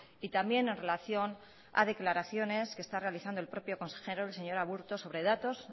y también en relación a declaraciones que está realizando el propio consejero el señor aburto sobre datos